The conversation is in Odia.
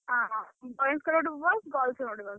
ଅ ବସ୍ ଙ୍କର ଗୋଟେ ବସ୍ girls ଙ୍କର ଗୋଟେ ବସ୍।